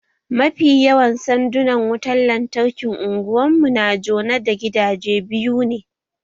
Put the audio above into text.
Mafi yawan sandunan wutan lantarkin Unguwan mu na jone da gidaje biyu ne